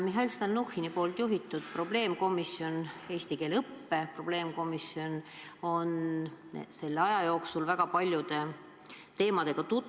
Mihhail Stalnuhhini juhitav eesti keele õppe arengu probleemkomisjon on selle aja jooksul väga paljude teemadega tutvunud.